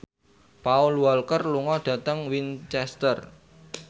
Paul Walker lunga dhateng Winchester